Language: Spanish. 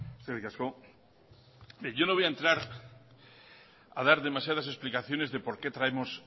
eskerrik asko bien yo no voy a entrar a dar demasiadas explicaciones de por qué traemos